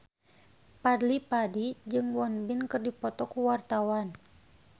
Fadly Padi jeung Won Bin keur dipoto ku wartawan